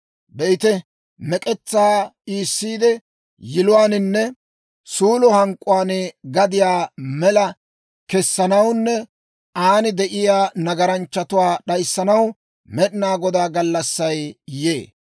Be'ite; mek'etsaa iisiide, yiluwaaninne suulo hank'k'uwaan gadiyaa mela kessanawunne aan de'iyaa nagaranchchatuwaa d'ayissanaw, Med'inaa Godaa gallassay yee.